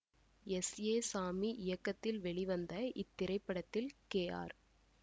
S A Sami இயக்கத்தில் வெளிவந்த இத்திரைப்படத்தில் கே ஆர்